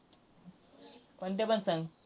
कोणत्या पण सांग!